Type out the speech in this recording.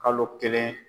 Kalo kelen